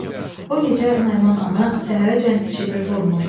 O gecə Naiman ana səhərəcən çimir vurmır.